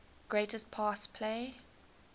greatest pass play